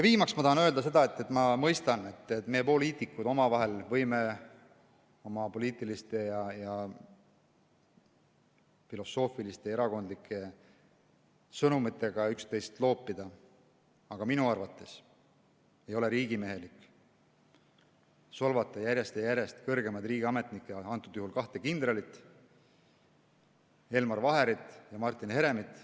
Viimaks ma tahan öelda seda, et ma mõistan, et meie, poliitikud, omavahel võime oma poliitiliste ja filosoofiliste erakondlike sõnumitega üksteist loopida, aga minu arvates ei ole riigimehelik solvata järjest ja järjest kõrgemaid riigiametnikke, antud juhul kahte kindralit, Elmar Vaherit ja Martin Heremit.